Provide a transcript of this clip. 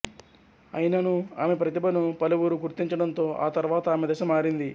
అయిననూ ఆమె ప్రతిభను పలువురు గుర్తించడంతో ఆ తర్వాత ఆమె దశ మారింది